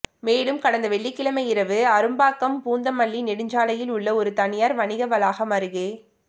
மேலும் கடந்த வெள்ளிக்கிழமை இரவு அரும்பாக்கம் பூந்தமல்லி நெடுஞ்சாலையில் உள்ள ஒரு தனியார் வணிக வளாகம் அருகே